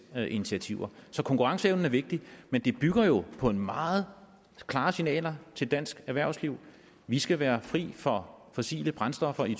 initiativer så konkurrenceevnen er vigtig men det bygger jo på meget klare signaler til dansk erhvervsliv vi skal være fri for fossile brændstoffer i